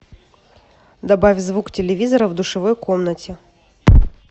добавь звук телевизора в душевой комнате